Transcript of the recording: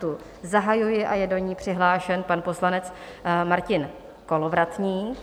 Tu zahajuji a je do ní přihlášen pan poslanec Martin Kolovratník.